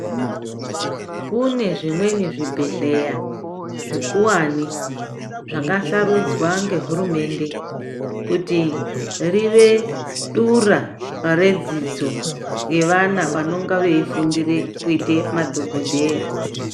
Kune zvimweni zvibhehleya zvekuwani zvakasarudzwa ngehurumende kuti rive dura redzidzo yevana vanonga veifundire kuite madhokodheya.